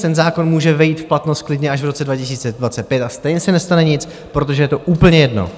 Ten zákon může vejít v platnost klidně až v roce 2025, a stejně se nestane nic, protože je to úplně jedno.